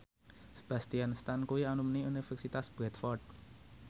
Sebastian Stan kuwi alumni Universitas Bradford